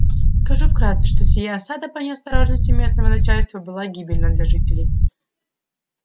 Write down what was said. скажу вкратце что сия осада по неосторожности местного начальства была гибельна для жителей